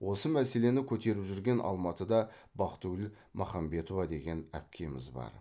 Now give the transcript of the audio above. осы мәселені көтеріп жүрген алматыда бақтыгүл махамбетова деген әпкеміз бар